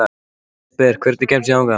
Jesper, hvernig kemst ég þangað?